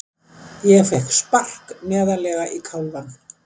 Ég fékk spark neðarlega í kálfann.